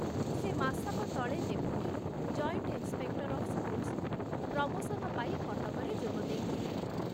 ସେ ମାସକ ତଳେ ଡେପୁଟିରୁ ଜଏଣ୍ଟ ଇନ୍ସପେକ୍ଟର ଅଫ ସ୍କୁଲସକୁ ପ୍ରମୋଶନ ପାଇ କଟକରେ ଯୋଗ ଦେଇଥିଲେ।